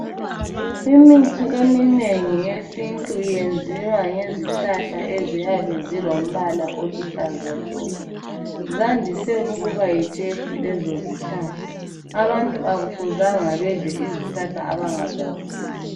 Imithi eminengi yesintu yenziwa ngezihlahla eziyabe zilombala oluhlaza tshoko, zandise ukuba yitshefu lezo zihlahla abantu akufuzanga badle izihlahla abangazaziyo.